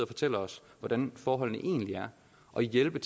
fortæller os hvordan forholdene egentlig er at hjælpe